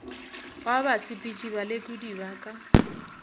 wa basepetši balekodi ba ka